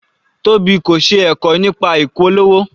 Tobi kò ṣe ẹ̀kọ́ nípa ìpolówó.